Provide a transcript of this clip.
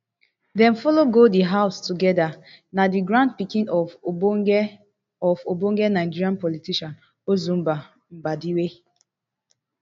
dem follow go di house togeda na di grandpikin of ogbonge of ogbonge nigerian politician ozumba mbadiwe